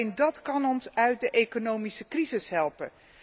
Want alleen dat kan ons uit de economische crisis helpen.